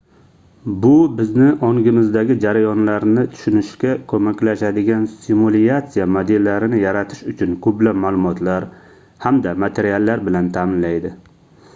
bu bizni ongimizdagi jarayonlarni tushunishga koʻmaklashadigan simulyatsiya modellarini yaratish uchun koʻplab maʼlumotlar hamda materiallar bilan taʼminlaydi